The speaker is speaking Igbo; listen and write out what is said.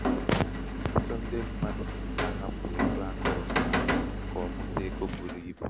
ọtụtụ ndị um mmadụ na-ahapụ égo akaụtụ ha ka ọ um mụta égo buru um ibu.